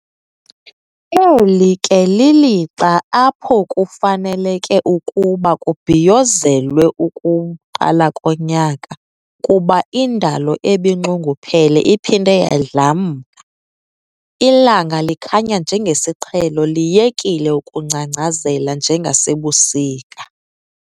Eli ke lilixa apho kufaneleke ukuba kubhiyozelwe ukuqala konyaka kuba indalo ebinxunguphele iphinde yadlamka, ilanga likhanya njengesiqhelo liyekile ukungcangcazela njengasebusika.